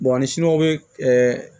ni siniw bɛ